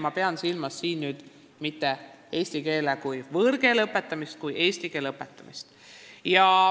Ma pean seejuures silmas mitte eesti keele kui võõrkeele õpetamist, vaid lihtsalt eesti keele õpetamist.